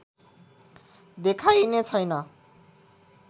देखाइने छैन